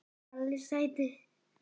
Palli sæti!!